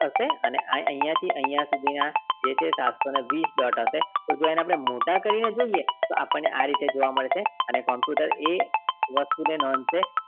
હશે અને અહિયાં થી અહિયાં સુધી ના જે છે સાતસો ને વીસ dot આવશે એને આપણે મોટા કરીને જોઈએ તો આપણે આ રીતે જોવા મળે છે અને computer એ વસ્તુ ને માનશે